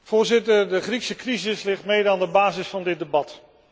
Voorzitter, de Griekse crisis ligt mede aan de basis van dit debat.